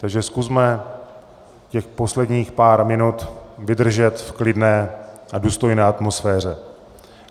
Takže zkusme těch posledních pár minut vydržet v klidné a důstojné atmosféře.